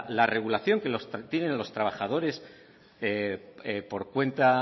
la regulación que tienen los trabajadores por cuenta